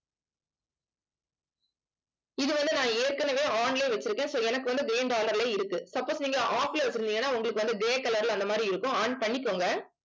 இது வந்து நான் ஏற்கனவே on லயே வச்சிருக்கேன் so எனக்கு வந்து இருக்கு. suppose நீங்க off ல வச்சிருந்தீங்கன்னா உங்களுக்கு வந்து grey colour ல அந்த மாதிரி இருக்கும் on பண்ணிக்கோங்க